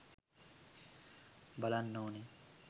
බලන්න ඕන